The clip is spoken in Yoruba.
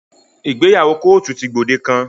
Ìgbéyàwó kóòtù ti gbòde kan.